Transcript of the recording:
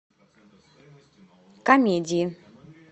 комедии